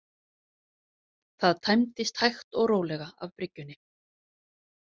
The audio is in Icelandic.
Það tæmdist hægt og rólega af bryggjunni.